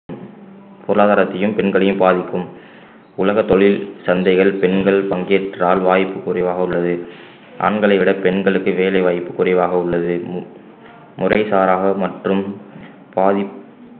பொருளாதாரத்தையும் பெண்களையும் பாதிக்கும் உலக தொழில் சந்தைகள் பெண்கள் பங்கேற்றால் வாய்ப்பு குறைவாக உள்ளது ஆண்களை விட பெண்களுக்கு வேலை வாய்ப்பு குறைவாக உள்ளது மு~ முறைசாராக மற்றும் பாதிப்~